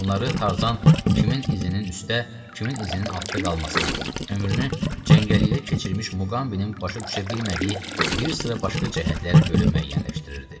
Bunları Tarzan, kimin izinin üstdə, kimin izinin altda qalmasına, ömrünü cəngəllikdə keçirmiş Muqambinin başa düşə bilmədiyi bir sıra başqa cəhətlərə görə müəyyənləşdirirdi.